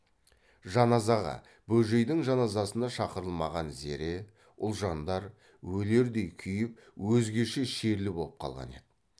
жаназаға бөжейдің жаназасына шақырылмаған зере ұлжандар өлердей күйіп өзгеше шерлі боп қалған еді